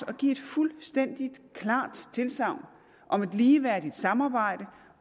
at give et fuldstændig klart tilsagn om et ligeværdigt samarbejde